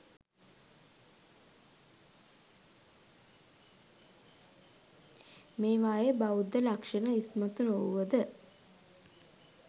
මේවායේ බෞද්ධ ලක්ෂණ ඉස්මතු නොවුව ද